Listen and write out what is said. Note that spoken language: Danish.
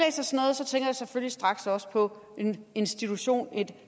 selvfølgelig straks også på en institution et